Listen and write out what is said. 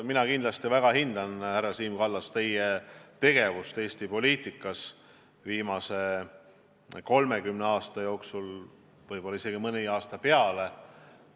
Mina kindlasti väga hindan, härra Siim Kallas, teie tegevust Eesti poliitikas viimase 30 aasta jooksul, võib-olla isegi mõni aasta kauem.